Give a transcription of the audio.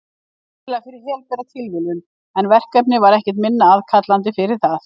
Sennilega fyrir helbera tilviljun, en verkefnið var ekkert minna aðkallandi fyrir það.